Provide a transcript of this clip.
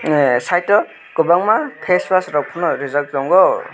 side o kwbangma face wash rok phano rijak tongo.